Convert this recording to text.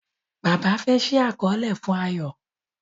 Bàbá fe ṣii àkọọlẹ fún Ayo